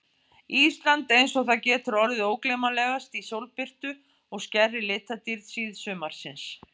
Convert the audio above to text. Ísland einsog það getur orðið ógleymanlegast í sólbirtu og skærri litadýrð síðsumarsins.